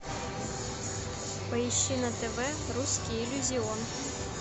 поищи на тв русский иллюзион